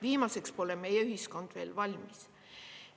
Viimaseks pole meie ühiskond veel valmis.